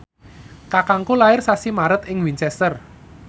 kakangku lair sasi Maret ing Winchester